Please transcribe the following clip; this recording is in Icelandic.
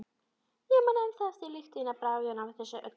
Ég man ennþá eftir lyktinni og bragðinu af þessu öllu.